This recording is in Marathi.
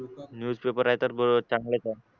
न्यूज आहे तर चांगलंच आहे